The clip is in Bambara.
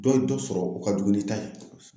Dɔ ye dɔ sɔrɔ o ka jugu n'i ta ye .